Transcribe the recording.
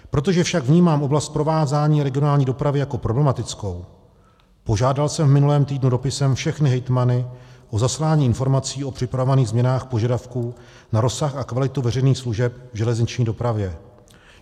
Protože však vnímám oblast provázání regionální dopravy jako problematickou, požádal jsem v minulém týdnu dopisem všechny hejtmany o zaslání informací o připravovaných změnách požadavků na rozsah a kvalitu veřejných služeb v železniční dopravě.